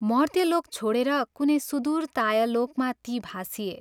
मर्त्यलोक छोडेर कुनै सुदूर तायलोकमा ती भासिए।